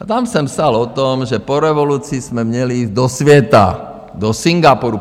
A tam jsem psal o tom, že po revoluci jsme měli jít do světa, do Singapuru.